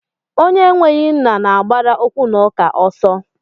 Onye enweghị nna na-agbara okwunauka ọsọ.